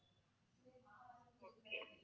okay